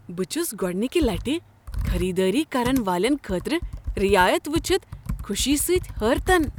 بہٕ چھس گوٚڈنكہِ لٹہ خریدٲری کرن والٮ۪ن خٲطرٕ رعایت وٕچھتھ خوشی سۭتۍ حٲرتن۔